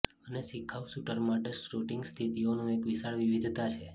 અને શિખાઉ શૂટર માટે શૂટિંગ સ્થિતિઓનો એક વિશાળ વિવિધતા છે